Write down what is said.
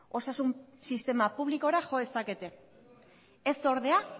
osasun sistema publikora jo dezakete ez ordea